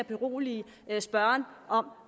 berolige spørgeren om